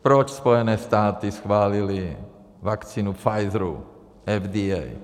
Proč Spojené státy schválily vakcínu Pfizeru - FDA?